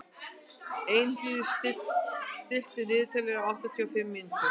Elínheiður, stilltu niðurteljara á áttatíu og fimm mínútur.